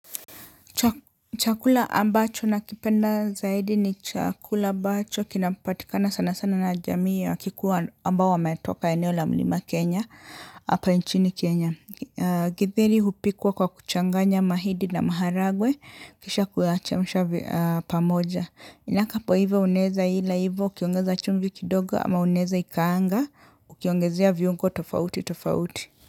Chakula ambacho na kipenda zaidi ni chakula ambacho kinapatikana sana sana na jamii wa kikuwa ambao wa metoka eneo la mlima Kenya hapa nchini Kenya. Githeri hupikwa kwa kuchanganya mahindi na maharagwe kisha kuyacheusha pamoja. Inaka po iva unaweza ila hivyo ukiongeza chumbi kidogo ama unaweza ikaanga ukiongezea viungo tofauti tofauti.